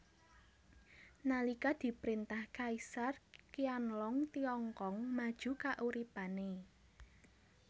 Nalika diprintah Kaisar Qianlong Tiongkong maju kauripane